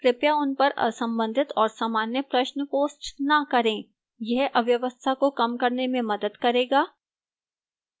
कृपया उन पर असंबंधित और सामान्य प्रश्न post न करें यह अव्यवस्था को कम करने में मदद करेगा